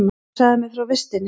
Hún sagði mér frá vistinni.